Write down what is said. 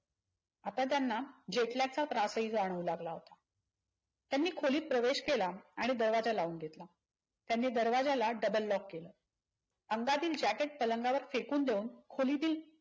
आता त्यांना jetlag चा त्रास हि जाणूव लागला. त्यांनी खोलीत प्रवेश केला आणि दरवाजा लावून घेतला. त्यांनी दरवाजाला double lock केल. अंगातील jacket पलंगावर फेकून देऊन खोलीतील